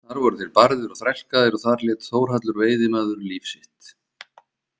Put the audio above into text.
Þar voru þeir barðir og þrælkaðir og þar lét Þórhallur veiðimaður líf sitt.